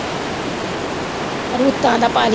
ਰੁੱਤਾਂ ਦਾ ਪਾ ਲਈ।